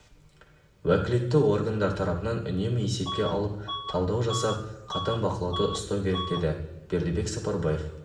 уәкілетті органдар тарапынан үнемі есепке алып талдау жасап қатаң бақылауда ұстау керек деді бердібек сапарбаев